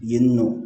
Yen nɔ